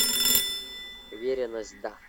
уверенность да